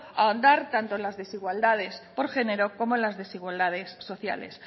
ahondar tanto en las desigualdades por género como en las desigualdades sociales